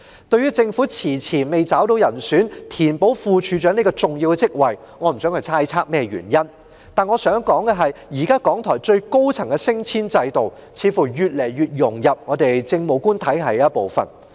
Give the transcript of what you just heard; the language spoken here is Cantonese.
對於政府遲遲未找到人選填補副處長這個重要職位，我不想猜測原因，但我想指出，港台現時最高層的升遷制度，似乎越來越融入政務官體系的一部分。